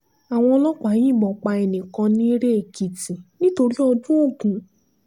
àwọn ọlọ́pàá yìnbọn pa ẹnì kan nirè-èkìtì nítorí ọdún ogun